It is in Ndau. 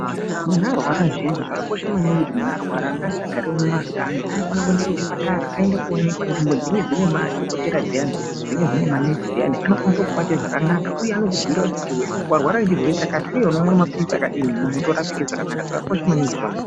Munhu arwara zviyani, zvakakosha maningi kuti munhu arwara ngaasagare mumakanyi. Anofanira kuende kuchipatara aende koonekwa. Nzvimbo dzinenge dzine madhokotera dziyani, dzinenge dzine manesi dziyani, anokwanisa kukubate zvakanaka uye anokubhuyira kuti warwara nechirwere chakati uye unomwa mapiritsi akadini, munhu otorapike zvakanaka. Zvakakosha maningi izvona.